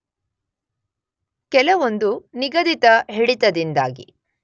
ಕೆಲವೊಂದು ನಿಗದಿತ ಹಿಡಿತದಿಂದಾಗಿ